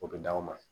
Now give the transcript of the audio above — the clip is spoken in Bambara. O bɛ d'aw ma